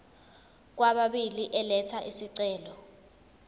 kwababili elatha isicelo